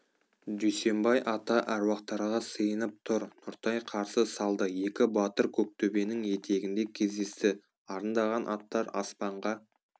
дүйсенбай ата әруақтарға сыйынып тұр нұртай қарсы салды екі батыр көктөбенің етегінде кездесті арындаған аттар аспанға